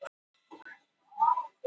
ÁSTINA OG SAMBÚÐINA